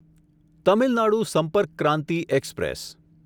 Tamil Nadu Sampark Kranti express